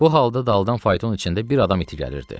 Bu halda daldan fayton içində bir adam iti gəlirdi.